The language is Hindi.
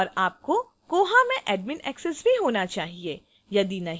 और आपको koha में admin access भी होना चाहिए